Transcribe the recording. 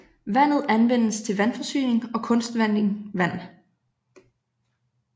Vandet anvendes til vandforsyning og kunstvanding vand